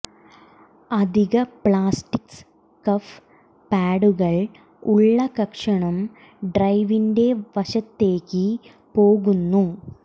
അധിക plastic scuff പാഡുകൾ ഉള്ള കഷണം ഡ്രൈവിന്റെ വശത്തേയ്ക്ക് പോകുന്നു